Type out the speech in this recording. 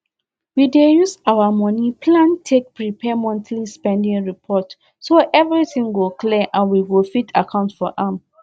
we dey use our moni plan take prepare monthly spending report so everything go clear and we go fit account for am